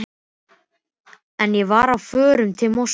En ég var á förum til Moskvu.